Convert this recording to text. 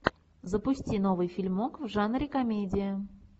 запусти новый фильмок в жанре комедия